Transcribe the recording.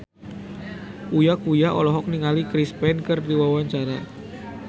Uya Kuya olohok ningali Chris Pane keur diwawancara